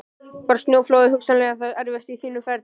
Var snjóflóðið hugsanlega það erfiðasta á þínu ferli?